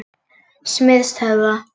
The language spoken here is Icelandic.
Smiðshöfða